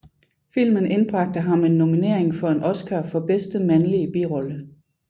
Filmen indbragte ham en nominering for en Oscar for bedste mandlige birolle